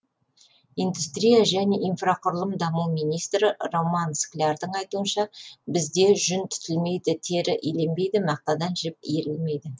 индустрия және инфрақұрылымдық даму министрі роман склярдың айтуынша бізде жүн түтілмейді тері иленбейді мақтадан жіп иірілмейді